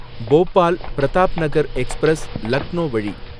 Bhopal Pratapnagar express, Lucknow வழி